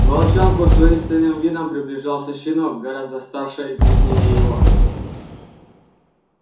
к волчонку с воинственным видом приближался щенок гораздо старше и крупнее его